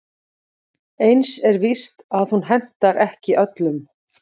Eins er víst að hún hentar ekki öllum.